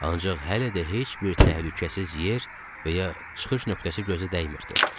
Ancaq hələ də heç bir təhlükəsiz yer və ya çıxış nöqtəsi gözə dəymirdi.